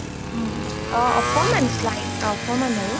অ অকমাণ slight অকমাণ আৰু